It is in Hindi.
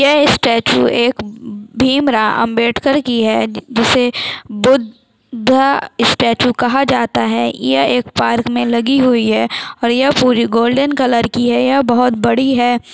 यह स्टैचू एक भीमराव अंबेडकर की है जिसे बुद्धा स्टैचू कहा जाता है यह एक पार्क में लगी हुई है और यह पूरी गोल्डन कलर की है और यह बहुत बड़ी है।